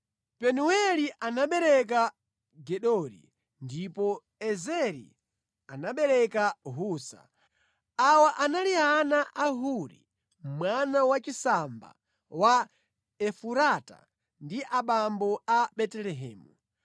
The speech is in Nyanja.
Penueli anabereka Gedori, ndipo Ezeri anabereka Husa. Awa anali ana a Huri, mwana wachisamba wa Efurata ndi abambo a Betelehemu.